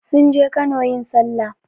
Sun je Kano yin sallah.